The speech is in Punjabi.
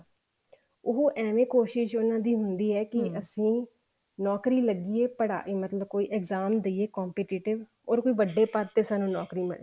ਉਹ ਏਵੇਂ ਕੋਸ਼ਿਸ਼ ਉਹਨਾ ਦੀ ਹੁੰਦੀ ਹੈ ਕੀ ਅਸੀਂ ਨੋਕਰੀ ਲੱਗੀਏ ਪੜ੍ਹਾਈ ਮਤਲਬ ਕੋਈ exam ਦਈਏ competitive or ਵੱਡੇ ਪਦ ਤੇ ਸਾਨੂੰ ਨੋਕਰੀ ਮਿਲਜੇ